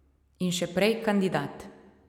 In še prej kandidat.